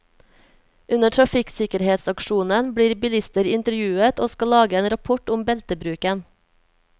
Under trafikksikkerhetsaksjonen blir bilister intervjuet, og skal lage en rapport om beltebruken.